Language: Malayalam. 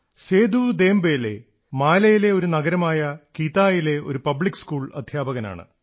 സേദു ദേംബലേ മാലിയിലെ ഒരു നഗരമായ കിതായിലെ ഒരു പബ്ലിക് സ്കൂളിൽ അധ്യാപകനാണ്